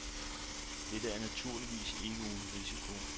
Dette er naturligvis ikke uden risiko.